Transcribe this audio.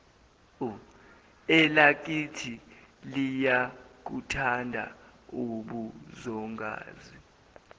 elakini liyakuthanda ubuzongazi